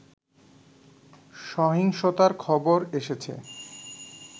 সহিংসতার খবর এসেছে